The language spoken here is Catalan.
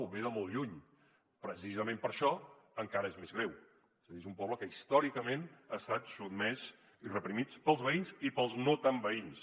ve de molt lluny precisament per això encara és més greu és a dir és un poble que històricament ha estat sotmès i reprimit pels veïns i pels no tan veïns